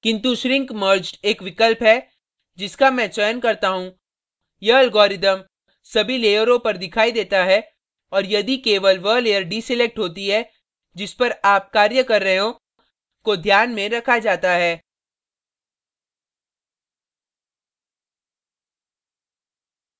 किन्तु shrink merged एक विकल्प है जिसका मैं चयन करता हूँ यह algorithm सभी लेयरों पर दिखाई देता है और यदि केवल वह layer deselected होती है जिस पर आप कार्य कर रहे हैं को ध्यान में रखा जाता है